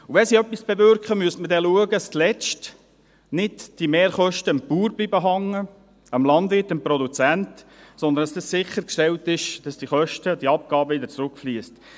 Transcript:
Und wenn sie etwas bewirken, müsste man dann schauen, dass diese Mehrkosten zuletzt nicht am Bauern hängen bleiben, am Landwirt, am Produzenten, sondern dass sichergestellt ist, dass diese Kosten und diese Abgaben wieder zurückfliessen.